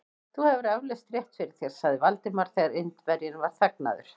Þú hefur eflaust rétt fyrir þér sagði Valdimar, þegar Indverjinn var þagnaður.